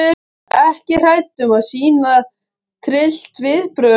Ekki hrædd um að sýna tryllt viðbrögð.